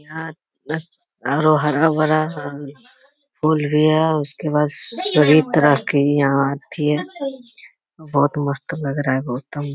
यहाँ हरा भरा फूल भी है उसके बाद सभी तरह के यहाँ अति है बहुत मस्त लग रहा है।